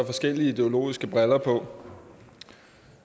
forskellige ideologiske briller på